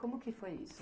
Como que foi isso?